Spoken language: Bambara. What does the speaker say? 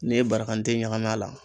N'i ye barakante ɲagam'a la